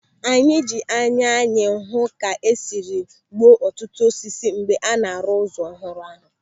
Anyị ji anya anyị hụ ka esiri gbuo ọtụtụ osisi mgbe a na-arụ ụzọ ọhụrụ ahụ.